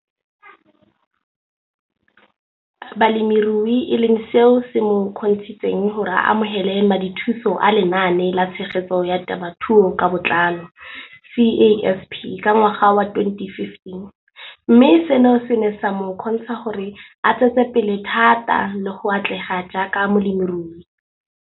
Balemirui e leng seo se mo kgontshitseng gore a amogele madithuso a Lenaane la Tshegetso ya Te mothuo ka Botlalo, CASP] ka ngwaga wa 2015, mme seno se ne sa mo kgontsha gore a tsetsepele thata le go atlega jaaka molemirui.